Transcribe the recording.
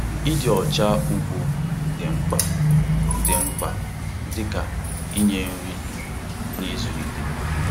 Ịdị ọcha ugbo dị mkpa dị mkpa dị ka inye nri na ịzụlite.